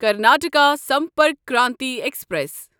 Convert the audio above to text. Karnataka Sampark Kranti express